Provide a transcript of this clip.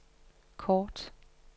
kort